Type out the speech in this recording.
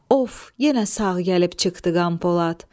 Of, yenə sağ gəlib çıxdı Qəmpolat.